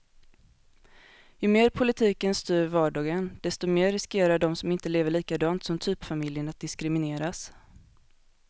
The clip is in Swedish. Ju mer politiken styr vardagen, desto mer riskerar de som inte lever likadant som typfamiljen att diskrimineras.